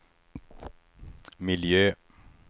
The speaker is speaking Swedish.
miljö